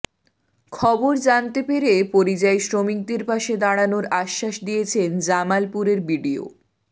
খবর জানতে পেরে পরিযায়ী শ্রমিকদের পাশে দাঁড়ানোর আশ্বাস দিয়েছেন জামালপুরের বিডিও